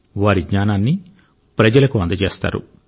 వారి జ్ఞానాన్ని ప్రజలకు అందజేస్తారు